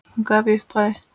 Hún gaf í upphafi